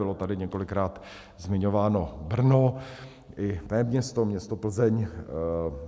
Bylo tady několikrát zmiňováno Brno i mé město, město Plzeň.